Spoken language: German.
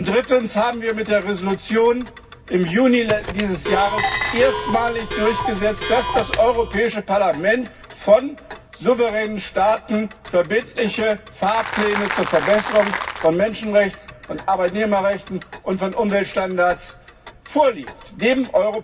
Drittens haben wir mit der Entschließung im Juni diesen Jahres erstmalig durchgesetzt, dass dem Europäischen Parlament von souveränen Staaten verbindliche Fahrpläne zur Verbesserung von Menschenrechten, von Arbeitnehmerrechten und von Umweltstandards vorgelegt werden.